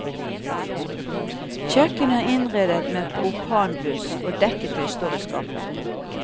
Kjøkkenet er innredet med propanbluss, og dekketøy står i skapet.